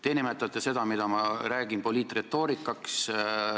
Te nimetate seda, mida ma räägin, poliitretoorikaks.